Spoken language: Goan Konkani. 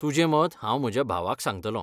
तुजें मत हांव म्हज्या भावाक सांगतलों.